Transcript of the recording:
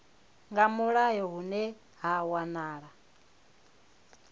nga mulayo hune ha wanala